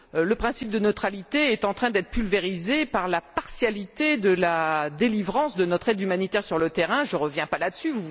Le principe de neutralité est en train d'être pulvérisé par la partialité de la délivrance de notre aide humanitaire sur le terrain je ne reviens pas là dessus.